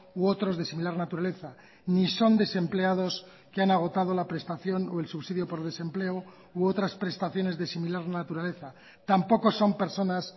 u otros de similar naturaleza ni son desempleados que han agotado la prestación o el subsidio por desempleo u otras prestaciones de similar naturaleza tampoco son personas